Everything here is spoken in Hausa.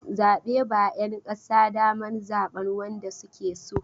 Zabe ba 'ƴan ƙasa daman zaɓan wanda suke so.